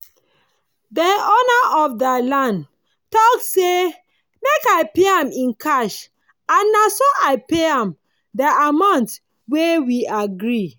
dey owner of dey land talk say make i pay am in cash and naso i pay am dey amount wey we gree